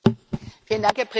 Herr Präsident!